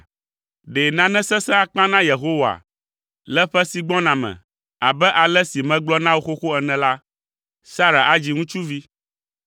Ɖe nane sesẽ akpa na Yehowa? Le ƒe si gbɔna me, abe ale si megblɔ na wò xoxo ene la, Sara adzi ŋutsuvi.”